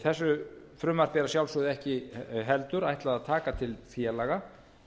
þessu frumvarpi er að sjálfsögðu ekki heldur ætlað að taka til félaga